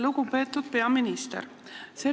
Lugupeetud peaminister!